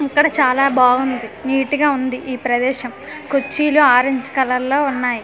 అక్కడ చాలా బాగుంది నీట్ గా ఉంది ఈ ప్రదేశం కుర్చీలు ఆరెంజ్ కలర్ లో ఉన్నాయి.